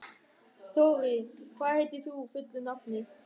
Þorri, hvað heitir þú fullu nafni?